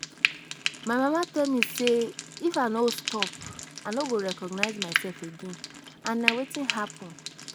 My mama tell me say if I no stop I no go recognize myself again and na wetin happen